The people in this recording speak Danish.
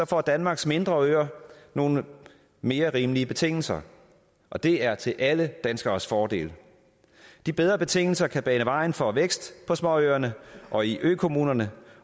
får danmarks mindre øer nogle mere rimelige betingelser og det er til alle danskeres fordel de bedre betingelser kan bane vejen for vækst på småøerne og i økommunerne